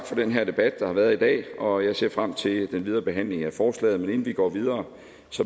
for den her debat der har været i dag og jeg ser frem til den videre behandling af forslaget men inden vi går videre